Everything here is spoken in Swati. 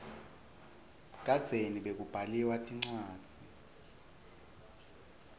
kadzeni bekubaliwa tincwadzi